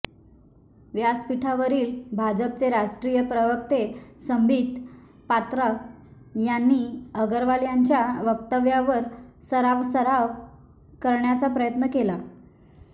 व्यासपीठावरील भाजपचे राष्ट्रीय प्रवक्ते संबित पात्रा यांनी अग्रवाल यांच्या वक्तव्यावर सारवासारव करण्याचा प्रयत्न केला